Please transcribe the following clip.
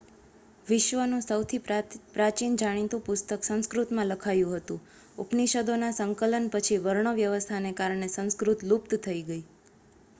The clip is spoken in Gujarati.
વિશ્વનું સૌથી પ્રાચીન જાણીતું પુસ્તક સંસ્કૃતમાં લખાયું હતું ઉપનિષદોના સંકલન પછી વર્ણવ્યવસ્થાને કારણે સંસ્કૃત લુપ્ત થઈ ગઈ